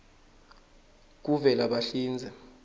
kuvelabahlinze